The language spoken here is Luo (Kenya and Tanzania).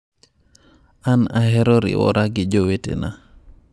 An aheroriwora gi jowetena".